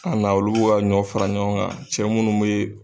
Ka na olu ka ɲɔ fara ɲɔgɔn kan, cɛ munnu bɛ.